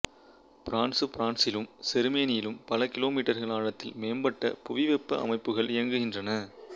பிரான்சுபிரான்சிலும் செருமனியிலும் பல கிலோமீட்டர்கள் ஆழத்தில் மேம்பட்ட புவிவெப்ப அமைப்புகள் இயங்குகின்றன